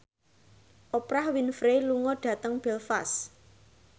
Oprah Winfrey lunga dhateng Belfast